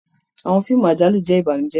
Awọn fíìmù àjálù jẹ ìbànújẹ.